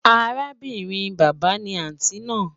Àràbìnrin baba náà ni àntí náà